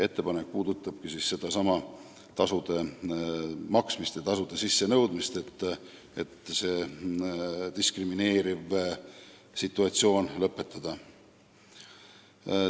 Ettepanek puudutabki sedasama tasude maksmist ja sissenõudmist, eesmärk on diskrimineeriv situatsioon lõpetada.